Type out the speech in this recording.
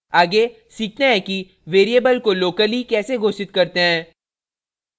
आगे सीखते हैं कि variable को locally कैसे घोषित करते हैं